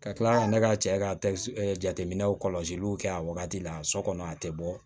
Ka kila ka ne ka cɛ ka jateminɛw kɔlɔsiliw kɛ a wagati la so kɔnɔ a tɛ bɔ